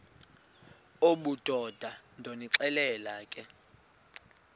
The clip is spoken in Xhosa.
obudoda ndonixelela ke